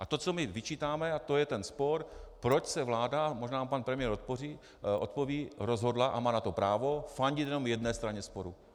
A to, co my vyčítáme, a to je ten spor, proč se vláda - možná mi pan premiér odpoví - rozhodla, a má na to právo, fandit jenom jedné straně sporu.